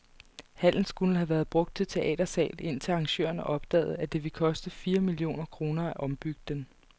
Hallen skulle have været brugt til teatersal, indtil arrangørerne opdagede, at det ville koste fire millioner kroner at ombygge den.